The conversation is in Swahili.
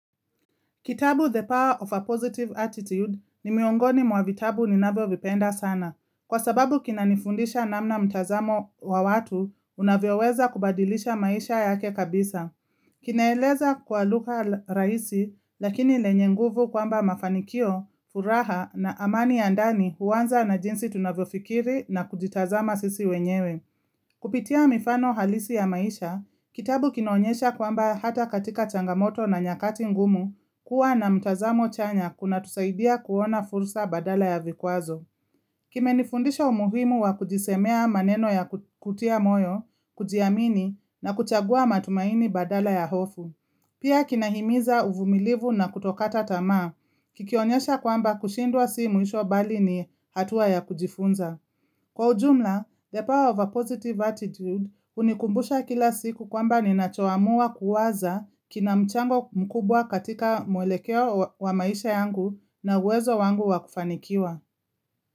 Kitabu, "The Power of a Positive Attitude", ni miongoni mwa vitabu ninavyovipenda sana. Kwa sababu kinanifundisha namna mtazamo wa watu unavyoweza kubadilisha maisha yake kabisa. Kinaeleza kwa lugha rahisi lakini lenye nguvu kwamba mafanikio, furaha na amani ya ndani huanza na jinsi tunavyofikiri na kujitazama sisi wenyewe. Kupitia mifano halisi ya maisha, kitabu kinaonyesha kwamba hata katika changamoto na nyakati ngumu, kuwa na mtazamo chanya kunatusaidia kuona fursa badala ya vikwazo. Kimenifundisha umuhimu wa kujisemea maneno ya kutia moyo, kujiamini na kuchagua matumaini badala ya hofu. Pia kinahimiza uvumilivu na kutokata tama, kikionyesha kwamba kushindwa si mwisho bali ni hatua ya kujifunza. Kwa ujumla, "The power of a positive attitude" hunikumbusha kila siku kwamba ninachoamua kuwaza kina mchango mkubwa katika mwelekeo wa maisha yangu na uwezo wangu wa kufanikiwa.